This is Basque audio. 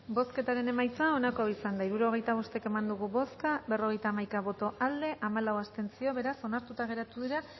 bozketaren emaitza onako izan da hirurogeita bost eman dugu bozka berrogeita hamaika boto aldekoa hamalau abstentzio beraz onartuta geratu dira